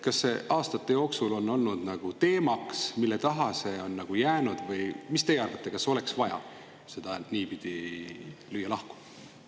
Kas aastate jooksul on olnud teemaks, mille taha see on jäänud, või mis teie arvate, kas oleks vaja neid niipidi lahku lüüa?